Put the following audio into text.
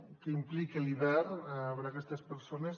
què implica l’hivern per a aquestes persones